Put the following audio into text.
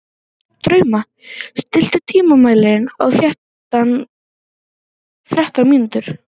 Drauma, stilltu tímamælinn á þrettán mínútur.